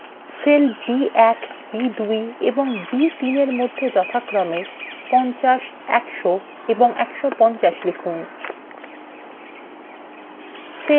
cells b1 b2 এবং b3 –এর মধ্যে যথাক্রমে 50 100 এবং 150 লিখুন